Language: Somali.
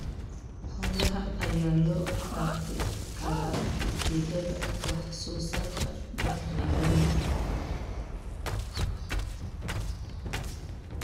Xoolaha ayaa loo dhaqi karaa ujeedada wax soo saarka bacriminta.